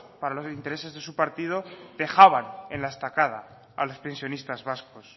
para los intereses de su partido dejaban en la estacada a los pensionistas vascos